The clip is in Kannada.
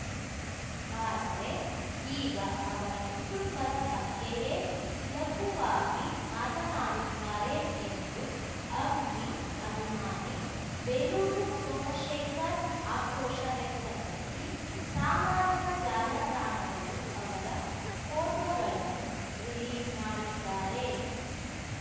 ಆದರೆ ಈಗ ಅವರ ಕುಟುಂಬದ ಬಗ್ಗೆಯೇ ಲಘುವಾಗಿ ಮಾತನಾಡುತ್ತಾರೆ ಎಂದು ಅಂಬಿ ಅಭಿಮಾನಿ ಬೇಲೂರು ಸೋಮಶೇಖರ್ ಆಕ್ರೋಶ ವ್ಯಕ್ತಪಡಿಸಿ ಸಾಮಾಜಿಕ ಜಾಲತಾಣದಲ್ಲಿ ಅವರ ಫೋಟೋಗಳನ್ನು ರಿಲೀಸ್ ಮಾಡಿದ್ದಾರೆ